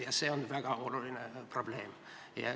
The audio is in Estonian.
Ja see on väga oluline probleem.